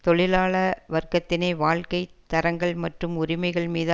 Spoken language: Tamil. தொழிலாள வர்க்கத்தின் வாழ்க்கை தரங்கள் மற்றும் உரிமைகள் மீது